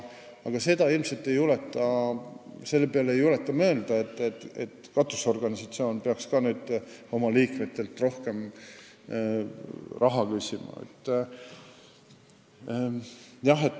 Aga ilmselt ei julgeta selle peale mõelda, et katusorganisatsioon peaks oma liikmetelt rohkem raha küsima.